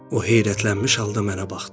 O heyrətlənmiş halda mənə baxdı.